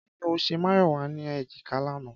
Kí ni ó ṣe Máyọ̀wá ní èjìká lánàá?